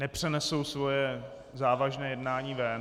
... nepřenesou své závažné jednání ven.